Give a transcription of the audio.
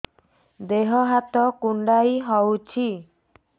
ଦେହ ହାତ କୁଣ୍ଡାଇ ହଉଛି